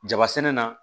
Jaba sɛnɛ na